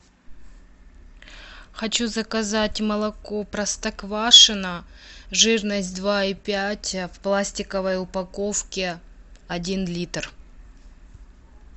хочу заказать молоко простоквашино жирность два и пять в пластиковой упаковке один литр